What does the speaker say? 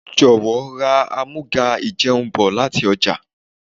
Jọ̀wọ́ ra àmúga-ìjẹun bọ̀ láti ọjà.